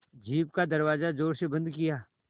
jeep का दरवाज़ा ज़ोर से बंद किया